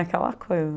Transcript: Aquela coisa.